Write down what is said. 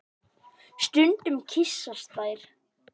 Stundum kyssast þær.